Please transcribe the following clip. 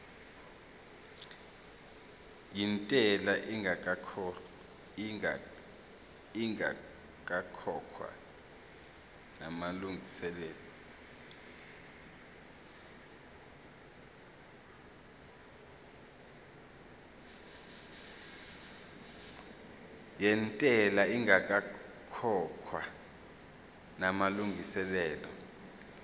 yentela ingakakhokhwa namalungiselo